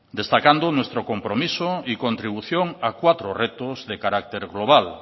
destacando nuestro compromiso y contribución a cuatro retos de carácter global